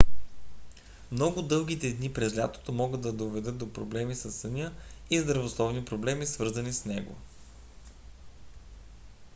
много дългите дни през лятото могат да доведат до проблеми със съня и здравословни проблеми свързани с него